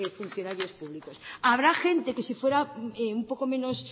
funcionarios públicos habrá gente que si fuera un poco menos